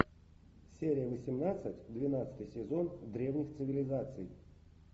серия восемнадцать двенадцатый сезон древних цивилизаций